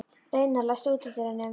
Reynar, læstu útidyrunum.